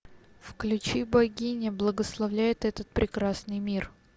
включи богиня благословляет этот прекрасный мир